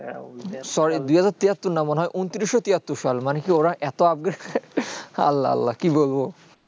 sorry দুই হাজার তিহাত্তর না মনে হয়ে ঊনত্রিশ সো তিহাত্তর সাল মানে কি ওরা এতো upgrade আল্লাহ আল্লাহ কি বলবো